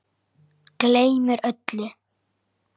Gleymir öllu.